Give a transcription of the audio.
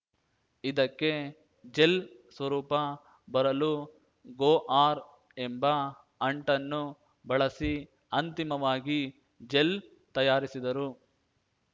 ಇದಕ್ಕೆ ಜೆಲ್‌ ಸ್ವರೂಪ ಬರಲು ಗೋ ಆರ್‌ ಎಂಬ ಅಂಟನ್ನು ಬಳಸಿ ಅಂತಿಮವಾಗಿ ಜೆಲ್‌ ತಯಾರಿಸಿದರು